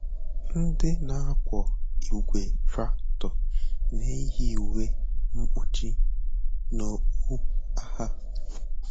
Ndị na-akwọ igwe traktọ na-eyi uwe mkpuchi na okpu agha.